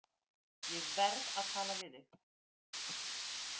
Ég verð að tala við þig.